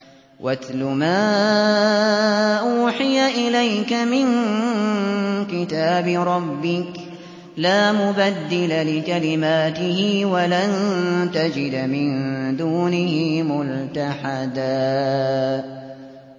وَاتْلُ مَا أُوحِيَ إِلَيْكَ مِن كِتَابِ رَبِّكَ ۖ لَا مُبَدِّلَ لِكَلِمَاتِهِ وَلَن تَجِدَ مِن دُونِهِ مُلْتَحَدًا